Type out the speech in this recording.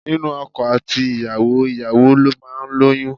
Nínú ọkọ àti ìyàwó, ìyàwó ló máa ń lóyún.